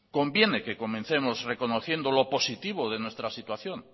conviene que comencemos reconociendo lo positivo de nuestra situación